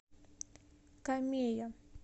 камея